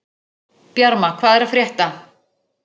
Bjarma, hvað er að frétta?